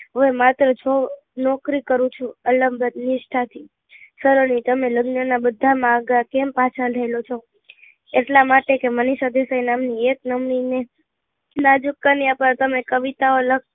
હું માત્ર છ નોકરી કરું છું અલગન નિષ્ઠા થી સલોની તમે લગ્ન ના બધા માં આઘા કેમ પાછા થયેલો છું એટલા માટે કે મનીષા દેસાઈ નામ ની એક્નામની ને નાજુક કન્યા પર તમે કવિતાઓ લખતા